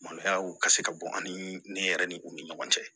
Maloya ka se ka bɔ ani yɛrɛ ni u ni ɲɔgɔn cɛ